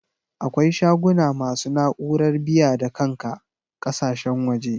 Akwai shaguna masu na'urar biya-da-kanka ƙakasashen waje.